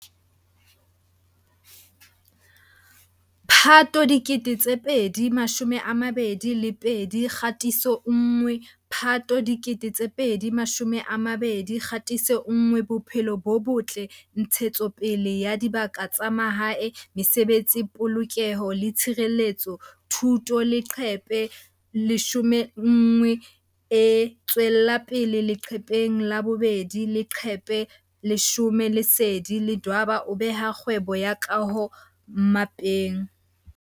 Phato 2022 Kgatiso 1 Phato 2022 Kgatiso 1Bophelo bo Botle Ntshetsopele ya Dibaka tsa Mahae Mesebetsi Polokeho le Tshireletso Thuto Leqephe 11E tswella pele leqepheng la 2 Leqephe 10 Lesedi Ledwaba o beha kgwebo ya kaho mmapeng.